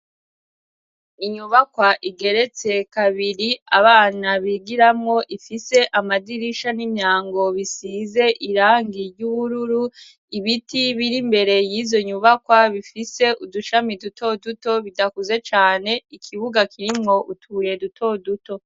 Inyubakwa igeretse kabiri abana bigiramwo ifise amadirisha n'imyango bisize irangi ry'ubururu ibiti biri mbere y'izo nyubakwa bifise udushami duto duto bidakuze cane ikibuga kirimwo utubuye duto duto.